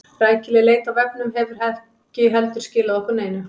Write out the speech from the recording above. Rækileg leit á vefnum hefur ekki heldur skilað okkur neinu.